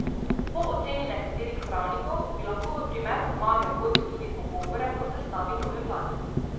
Po oceni nekaterih pravnikov bi lahko v primeru zmage vodil tudi pogovore o sestavi nove vlade.